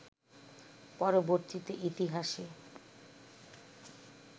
পরবর্তীতে ইতিহাসে